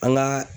An ka